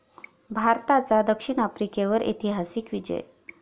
भारताचा द. आफ्रिकेवर ऐतिहासिक विजय